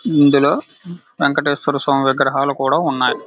ఇందులో వెంకటేశ్వర స్వామి విగ్రహాలు కూడా ఉన్నాయ్.